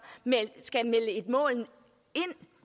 melde et mål ind